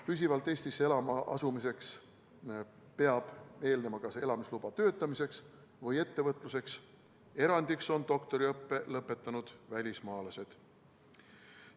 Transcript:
Püsivalt Eestisse elama asumisele peab eelnema kas töötamiseks või ettevõtluseks antud elamisluba, erandiks on doktoriõppe lõpetanud välismaalased.